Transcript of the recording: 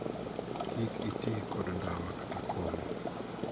Kik itii kod ndawa kata kong'o.